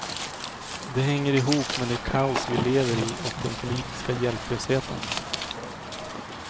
Den hänger ihop med det kaos vi lever i och den politiska hjälplösheten.